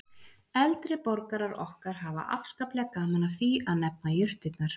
Eldri borgarar okkar hafa afskaplega gaman af því að nefna jurtirnar